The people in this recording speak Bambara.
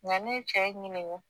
Nga ne ye cɛ ɲiniga